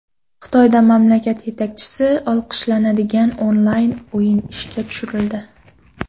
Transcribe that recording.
Xitoyda mamlakat yetakchisi olqishlanadigan onlayn o‘yin ishga tushirildi.